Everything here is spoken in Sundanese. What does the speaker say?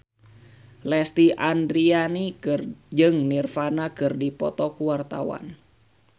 Lesti Andryani jeung Nirvana keur dipoto ku wartawan